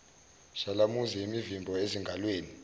shalamuzi imivimbo ezingalweni